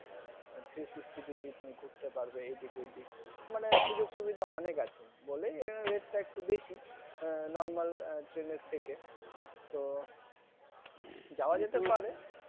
three sixty degree তুমি ঘুরতে পারবে এইদিক ঐদিক মনে সুযোগ সুবিধা অনেক আছে বলেই রেটটা একটু বেশি Normal, Train থেকে তো যাওয়া যেতে পারে কিন্তু